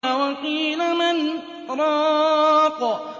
وَقِيلَ مَنْ ۜ رَاقٍ